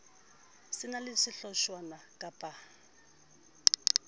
se na le sehlotshwana kappa